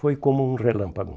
Foi como um relâmpago.